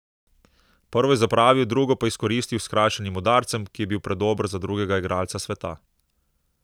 Prvo je zapravil, drugo pa izkoristil z s skrajšanim udarcem, ki je bil predober za drugega igralca sveta.